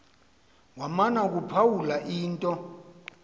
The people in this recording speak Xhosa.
wamana ukuphawula into